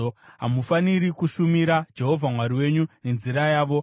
Hamufaniri kushumira Jehovha Mwari wenyu nenzira yavo.